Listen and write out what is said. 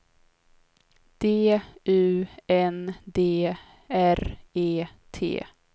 D U N D R E T